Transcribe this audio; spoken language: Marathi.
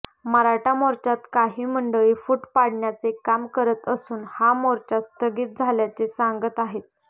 मराठा मोर्चात काही मंडळी फूट पाडण्याचे काम करत असून हा मोर्चा स्थगित झाल्याचे सांगत आहेत